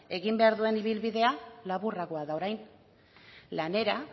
egin behar duen ibilbidea laburragoa da orain lanera